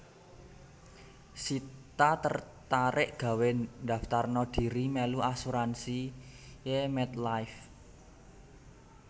Sita tertarik gawe ndaftarno diri melu asuransi e MetLife